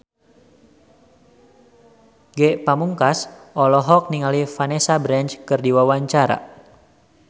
Ge Pamungkas olohok ningali Vanessa Branch keur diwawancara